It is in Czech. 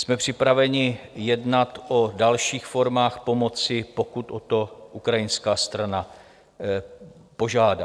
Jsme připraveni jednat o dalších formách pomoci, pokud o to ukrajinská strana požádá.